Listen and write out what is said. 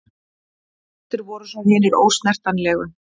Lægstir voru svo hinir ósnertanlegu.